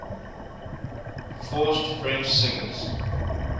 forced french singers